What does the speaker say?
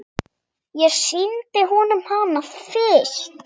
Ég sýndi honum hana fyrst.